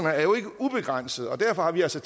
er jo ikke ubegrænsede og derfor har vi altså